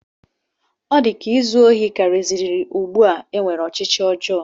Ọ na-adị m ka izu ohi karịziri ugbu a e nwere ọchịchọ ọjọọ